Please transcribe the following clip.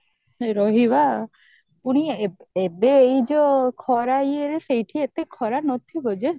ରହିବା ପୁଣି ଏବେ ଏବେ ଏଇ ଯୋଉ ଖରା ଇଏରେ ସେଇଠି ଏତେ ଖରା ନଥିବା ଯେ